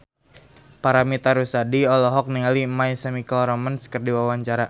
Paramitha Rusady olohok ningali My Chemical Romance keur diwawancara